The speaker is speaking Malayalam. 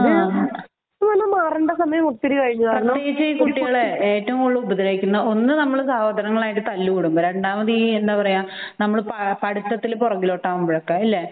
ആഹ് മാറേണ്ട സമയം കഴിഞ്ഞു കുട്ടികളെ ഏറ്റവും കൂടുതൽ ഒന്ന് സഹോദരങ്ങളുമായിട്ട് തല്ലു കൂടുമ്പോൾ രണ്ടാമത് ഈ നമ്മൾ പഠിത്തത്തിലൊക്കെ പുറകോട്ടാവുമ്പോൾ അല്ലെ